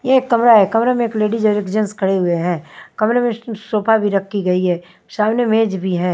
यह एक कमरा है कमरे में एक लेडिस और एक जेंट्स खड़े हुए हैं कमरे में सोफा भी रखी गई है सामने मेज भी है।